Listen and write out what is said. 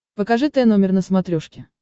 покажи тномер на смотрешке